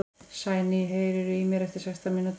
Sæný, heyrðu í mér eftir sextán mínútur.